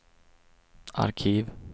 arkiv